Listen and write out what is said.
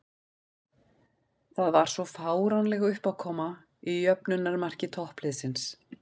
Það var svo fáránleg uppákoma í jöfnunarmarki toppliðsins.